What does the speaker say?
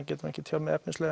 geti ekki tjáð mig efnislega